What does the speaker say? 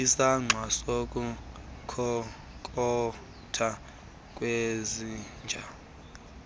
isankxwe sokukhonkotha kwezinja